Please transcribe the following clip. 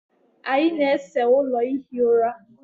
anyị na-ese ụlọ ihi ụra